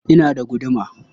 Ina da guduma.